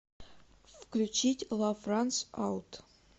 включить лав ранс аут